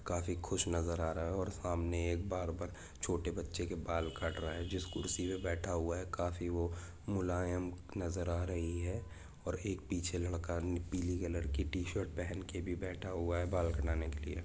काफी खुश नज़र आ रहे है और सामने एक बार्बर छोटे बच्चे के बाल काट रहा हैजिस कुर्सी पे बेढ़ा हुआ हे काफी वो मुलायम नजर आ रही है और एक पीछे लड़का पीली कलर की टीशर्ट पहन के भी बैठा हुआ हैबाल कटाने के लिए।